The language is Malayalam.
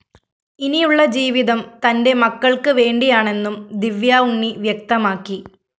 ഇനിയുള്ള ജീവിതം തന്റെ മക്കള്‍ക്ക് വേണ്ടിയാണെന്നും ദിവ്യാ ഉണ്ണി വ്യക്തമാക്കി